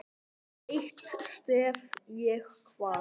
Eitt stef ég kvað.